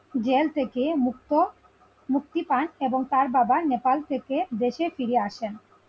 Jail থেকে মুক্ত মুক্তি পান এবং তার বাবা নেপাল থেকে দেশে ফিরে আসেন।